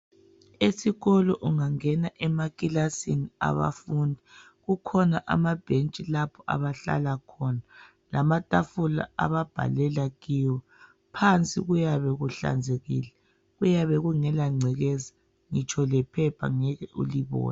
Esikolo ungangena emakilasini abafundi kukhona amabhentshi lapho abahlala khona lamatafula ababhalela kiwo. Phansi kuyabe kuhlanzekile. Kuyabe kungela ngcekeza. Ngitsho lephepha ngeke ulibone.